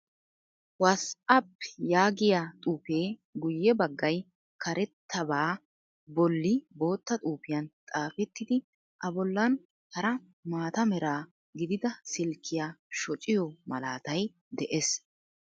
'WhatsApp' yaagiyaa xuuffee guye baggay karettabaa bolli bootta xuufiyan xaafettidi a bollan hara maata mera gidida silkkiyaa shocciyoo malaatay dees.